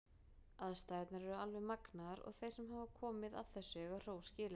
Aðstæðurnar eru alveg magnaðar og þeir sem hafa komið að þessu eiga hrós skilið.